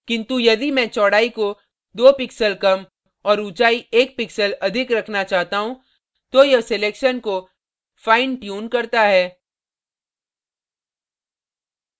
किन्तु यदि मैं चौड़ाई को दो pixels कम और ऊँचाई एक pixels अधिक रखना चाहता हूँ तो यह selection को fine tunes करता है